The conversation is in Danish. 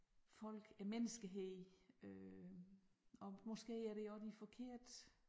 Folk æ menneskehed øh og måske er det også de forkerte